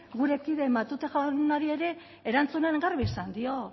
gure kide matute jaunari ere erantzunean garbi esan dio